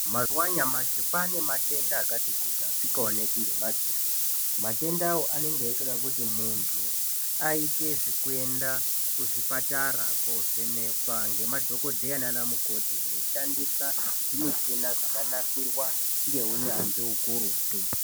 Mazuwa anyamashi kwane matenda akati kuti asikaoneki ngemadziso, matenda awawo anoda kuti muntu aite zvekuenda kuzvipatara koovhenekwa ngemadhogodheya nanamukoti veishandisa michina yakanasirwa ngeunyanzvi ukurutu.